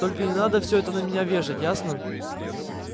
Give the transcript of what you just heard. только не надо все это на меня вешать ясно